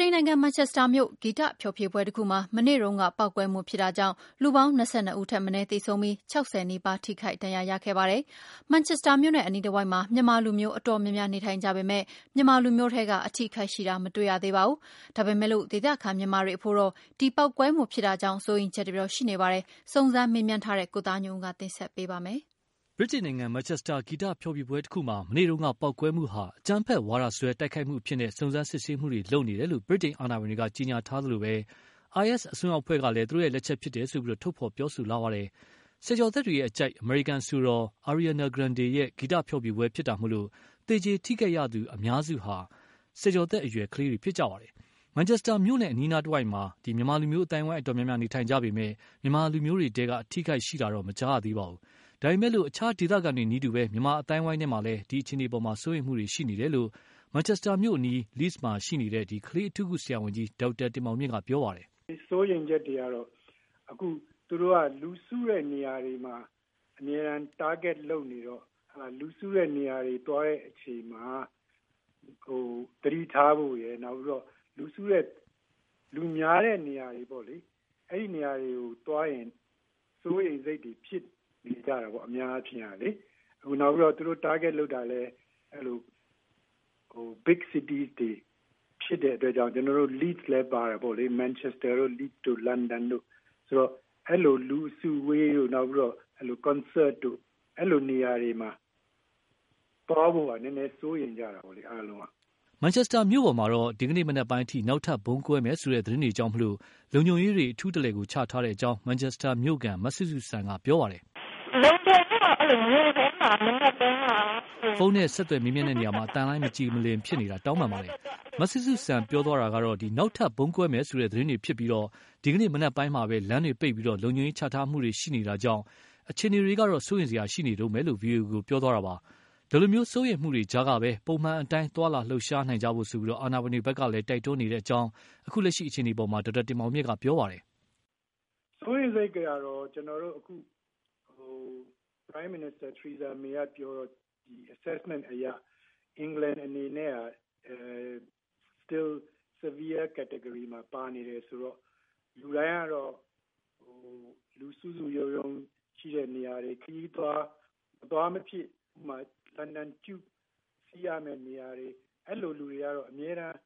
တိန်နိုင်ငံ မန်ချက်စတာမြို့ ဂီတဖျော်ဖြေပွဲတခုမှာ မနေ့တုန်းက ပေါက်ကွဲမှုဖြစ်တာကြောင့် လူပေါင်း ၂၂ ဦးထက်မနည်းသေဆုံးပြီး ၆၀နီးပါး ထိခိုက်ဒဏ်ရာရခဲ့ပါတယ်။ မန်ချက်စတာမြို့နဲ့အနီးတဝိုက်မှာ မြန်မာလူမျိုးအတော်များများ နေထိုင်ကြပေမယ့် မြန်မာလူမျိုးထဲက အထိအခိုက်ရှိတာ မတွေ့ရ သေးပါဘူး။ ဒါပေမယ်လို့ ဒေသခံ မြန်မာတွေအဖို့တော့ ဒီပေါက်ကွဲမှုဖြစ်တာကြောင့် စိုးရိမ်ချက်တွေတော့ ရှိနေပါတယ်။ စုံစမ်းမေးမြန်းထားတဲ့ ကိုသားညွန့်ဦးက တင်ဆက်ပေးပါလိမ့်မယ်။ ဗြိတိန်နိုင်ငံ မန်ချက်စတာ ဂီတဖျော်ဖြေပွဲတခုမှာ မနေ့က ပေါက်ကွဲမှုဟာ အကြမ်းဖက်ဝါဒစွဲတိုက်ခိုက်မှုအဖြစ်နဲ့ စုံစမ်းစစ်ဆေးမှုတွေလုပ်နေတယ်လို့ ဗြိတိန်အာဏာပိုင်တွေက ကြေညာထားသလိုပဲ၊ IS အစွန်းရောက်အဖွဲ့ကလည်း သူတို့လက်ချက်ဖြစ်တယ်လို့ ထုတ်ဖော်ပြောဆိုလာပါတယ်။ ဆယ်ကျော်သက်တွေအကြိုက် အမေရိကန်အဆိုတော် Ariana Grande ရဲ့ ဂီတဖျော်ဖြေပွဲမှာဖြစ်တာမို့ သေကြေ ထိခိုက်သူအများစုဟာ ဆယ်ကျော်သက်အရွယ်ကလေးတွေဖြစ်ကြပါတယ်။ မန်ချက်စတာမြို့နဲ့အနီးအနားမှာတော့ မြန်မာလူမျိုး အသိုင်းအဝိုင်းအတော်များများနေထိုင်ကြပေမယ့် မြန်မာလူမျိုးတွေထဲက အထိအခိုက်ရှိတာတော့ မကြားရပါဘူး။ ဒါပေမယ့်လည်း အခြားဒေသခံတွေနည်းတူ မြန်မာအသိုင်းအဝိုင်းထဲမှာလည်း အခြေအနေအပေါ် စိုးရိမ်မှုတွေရှိနေတယ်လို့ မန်ချက်စတာမြို့အနီး Leeds မှာရှိနေတဲ့ ကလေးအထူးကုဆရာဝန်ကြီး ဒေါက်တာ တင်မောင်မြင့်က ပြောပါတယ်။ “စိုးရိမ်ချက်တွေကတော့ အခုက သူတို့က လူစုတဲ့နေရာတွေမှာ အမြဲတမ်း Target လုပ်နေတော့ လူစုတဲ့နေရာတွေသွားတဲ့အချိန်မှာ သတိထားဖို့ရယ်။ လူများတဲ့နေရာတွေကိုသွားရင် စိုးရိမ်စိတ်တွေဖြစ်နေကြတယ်ပေါ့နော်။ အများအားဖြင့်ပေ့ါလေ။ နောက်ပြီးတော့ သူတို့ Target လုပ်တာလည်း Big City တွေ ဖြစ်တဲ့အတွက်ကြောင့် ကျနော်တို့ Leeds လည်းပါတယ်ပေါ့လေ ၊ Manchester တို့ Leeds တို့ လန်ဒန်တို့ အဲလိုလူအစုအဝေးတို့ နောက်ပြီးတော့ Concert တို့ အဲလိုနေရာတွေမှာ သွားဖို့က နည်းနည်းစိုးရိမ်ကြတယ်အားလုံးက။” မန်ချက်စတာမြို့ပေါ်မှာတော့ ဒီကနေ့မနက်ပိုင်းအထိ နောက်ထပ်ဗုံးကွဲမယ်ဆိုတဲ့ သတင်းတွေကြောင့် လုံခြုံရေးတွေ အထူးချထားတဲ့အကြောင်း မန်ချက်စတာ မြို့ခံ မစုစုစံက ပြောပါတယ်။ ဖုန်းနဲ့ဆက်သွယ်ရာမှာအသံလိုင်းမကြည်မလင်ဖြစ်နေတာ တောင်းပန်ပါတယ်။ မစုစုစံပြောတာကတော့ နောက်ထပ် ဗုံးကွဲမယ်ဆိုတဲ့သတင်းတွေဖြစ်ပြီး၊ ဒီကနေ့ မနက်ပိုင်းကပဲ လမ်းတွေပိတ်ပြီး လုံခြုံရေးချထားမှုတွေရှိနေတာကြောင့် အခြေအနေကတော့ စိုးရိမ်စရာရှိနေတုန်းပဲ ဗွီအိုအေကို ပြောတာပါ။ ဒီလို စိုးရိမ်မှုတွေကြားကပဲ ပုံမှန်အတိုင်းသွားလာလှုပ်ရှားနိုင်ဖို့ အာဏာပိုင်တွေဖက်က တိုက်တွန်းနေတယ်လို့လည်း အခုလက်ရှိအခြေအနေအပေါ်မှာတော့ဒေါက်တာတင်မောင်မြင့်က ပြောပါတယ်။ “စိုးရိမ်စိတ်တွေကတော့ ကျနော်တို့အခု Prime Minister Theresa May ကပြောတော့ အခုအခြေအနေအရ အင်္ဂလန်အနေနဲ့က Severe Category မှာပါနေတယ်ဆိုတော့ လူတိုင်းကတော့ လူစုစုရုံးရုံးရှိတဲ့နေရာတွေ ခရီးသွား ၊ မသွားမဖြစ်မှာ လန်ဒန် Tube စီးရမယ့်နေရာတွေ အဲလိုလူတွေကတော့ အမြဲတမ်း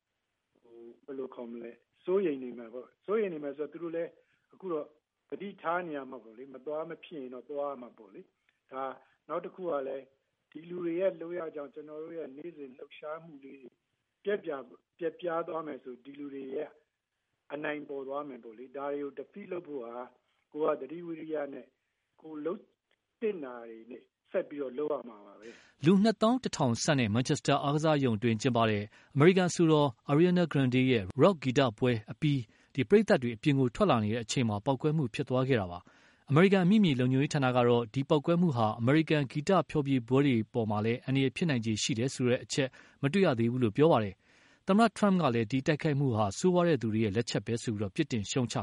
စိုးရိမ်နေမယ်ပေါ့နေ်ာ။ စိုးရိမ်နေမယ်ဆိုတော့ သူတို့လည်းအခုတော့ သတိထားရမှာပေါ့နော် မသွားမဖြစ်သွားရမှာပေါ့လေ။ နောက်တခုကလည်း ဒီလူတွေရဲ့လုပ်ရက်ကြောင့် ကျနော်တို့ရဲ့နေ့စဉ်လှုပ်ရှားမှုလေးတွေ ပျက်ပြားသွားမယ်ဆိုရင် ဒီလူတွေရဲ့ အနိုင်ပေါ်သွားမယ်ပေါ့လေ။ ဒါတွေကို Defeat လုပ်ဖို့က ကိုယ်ကသတိ ဝီရိယနဲ့ ကိုယ်လုပ်သင့်တာကို ဆက်လုပ်ရမှာပဲ။” လူ ၂သောင်း ၁ ထောင် ဆန့်Manchester အားကစားရုံအတွင်း ကျင်းပတဲ့ အမေရိကန် အဆိုတော် Ariana Grande ရဲ့ Rock ဂီတပွဲကို အပြီး ပရိသတ်တွေ အပြင်ကို ထွက်လာနေကြတဲ့အချိန်မှာပဲ ပေါက်ကွဲမှု ဖြစ်သွားခဲ့တာ ဖြစ်ပါတယ်။ အမေရိကန်အမိမြေလုံခြုံရေးဌာန ကတော့ ဒီပေါက်ကွဲမှုက အမေရိကန်က ဂီတဖျော်ဖြေပွဲတွေမှာ အန္တရာယ်ဖြစ်နိုင်ခြေရှိတဲ့အချက်တော့ မတွေ့သေးဘူးလို့ ပြောပါတယ်။ သမ္မတ Trump ကလည်း ဒီတိုက်ခိုက်မှုဟာ ဆိုးရွားတဲ့ သူတွေရဲ့ လက်ချက်ပဲဆိုပြီး ပြစ်တင်ရှုံ့ချ